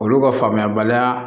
Olu ka faamuyabaliya